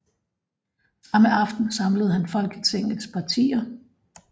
Samme aften samlede han Folketingets partier